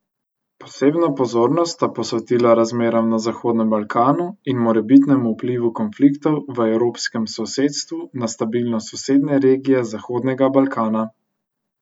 Posebno pozornost sta posvetila razmeram na Zahodnem Balkanu in morebitnemu vplivu konfliktov v evropskem sosedstvu na stabilnost sosednje regije Zahodnega Balkana.